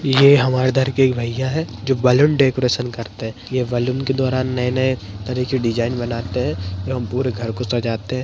ये हमारे इधर के एक भैया हैं जो बलून डेकोरेशन करते है ये बलून के द्वारा नए-नए तरह के डिज़ाइन बनाते है एवं पूरे घर को सजाते।